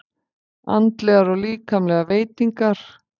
Andlegar og líkamlegar veitingar.